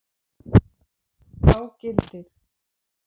Þá gildir